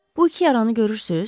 Bu iki yaranı görürsüz?